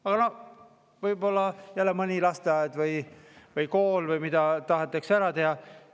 Aga noh, võib-olla jälle mõni lasteaed või kool või midagi tahetakse ära teha.